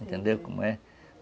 Entendeu como é?